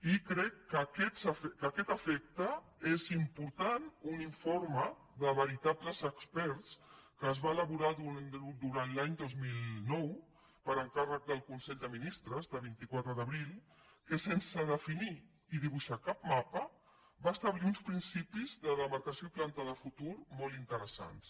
i crec que a aquest efecte és important un informe de veritables experts que es va elaborar durant l’any dos mil nou per encàrrec del consell de ministres de vint quatre d’abril que sense definir i dibuixar cap mapa va establir uns principis de demarcació i planta de futur molt interessants